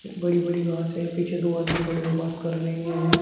बड़े बड़े घास हैं पीछे दो आदमी खड़े हुए बात कर रहे हैं।